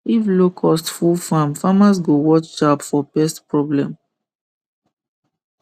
if locust full farm farmers go watch sharp for pest problem